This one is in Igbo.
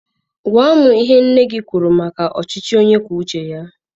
Gwa m ihe nne gị kwuru maka ọchịchị onye kwuo uche ya.